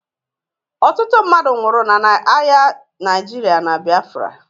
Ọtụtụ mmadụ nwụrụ n'agha Naịjirịa na Biafra